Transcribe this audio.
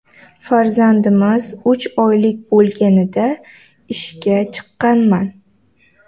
Farzandimiz uch oylik bo‘lganida ishga chiqqanman.